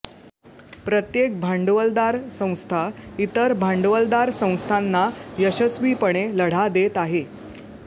प्रत्येक भांडवलदार संस्था इतर भांडवलदार संस्थांना यशस्वीपणे लढा देत आहे